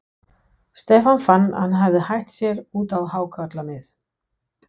Stefán fann að hann hafði hætt sér út á hákarlamið.